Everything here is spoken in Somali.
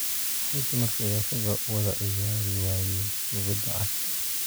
Maxay dumarka iyo ragga u wada ciyaari waayeen kubbadda cagta?